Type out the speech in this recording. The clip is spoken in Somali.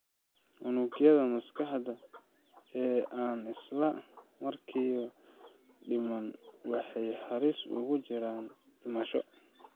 Unugyada maskaxda ee aan isla markiiba dhiman waxay halis ugu jiraan dhimasho.